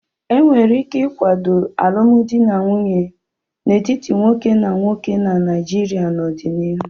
E nwere ike ịkwado alụmdi na nwunye n'etiti nwoke na nwoke na Naijiria n'ọdịnihu.